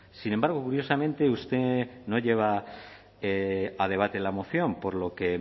sin embargo curiosamente usted no lleva a debate la moción por lo que